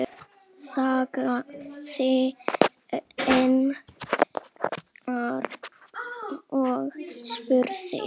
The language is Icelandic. sagði Einar og spurði.